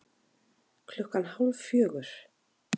Klukkan hálf fjögur